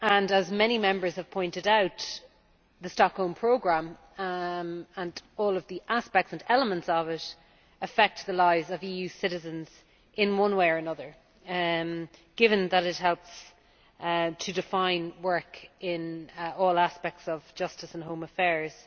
As many Members have pointed out, the Stockholm Programme and all the aspects and elements of it affect the lives of EU citizens in one way or another, given that it helps to define work in all aspects of justice and home affairs.